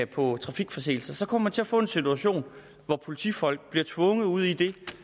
på trafikforseelser så kommer man til at få en situation hvor politifolk bliver tvunget ud i det